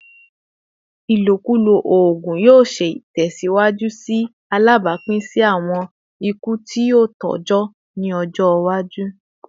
Ilokulo oogun yoo ṣee tẹsiwaju lati ṣe alabapin si awọn iku ti tọjọ ni ọjọ iwaju